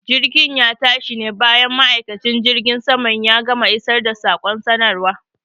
Jirgin ya tashi ne bayan ma'aikacin jirgin saman ya gama isar da saƙon sanarwa.